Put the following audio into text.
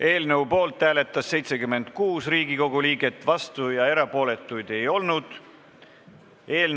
Eelnõu poolt hääletas 76 Riigikogu liiget, vastu või erapooletu ei olnud keegi.